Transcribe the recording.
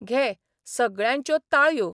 घे सगळ्यांच्यो ताळयो.